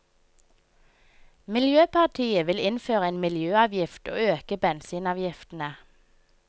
Miljøpartiet vil innføre en miljøavgift og øke bensinavgiftene.